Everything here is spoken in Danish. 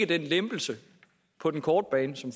den lempelse på den korte bane som